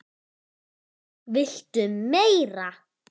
VILTU MEIRA?